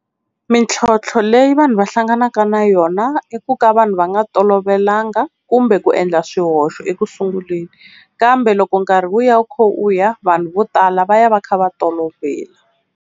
Mintlhontlho leyi vanhu va hlanganaka na yona i ku ka vanhu va nga tolovelanga kumbe ku endla swihoxo ekusunguleni, kambe loko nkarhi wu ya wu kha wu ya vanhu vo tala va ya va kha va tolovela.